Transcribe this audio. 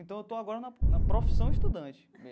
Então, eu estou agora na na profissão estudante.